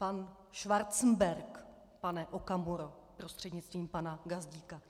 Pan Schwarzenberg, pane Okamuro prostřednictvím pana Gazdíka.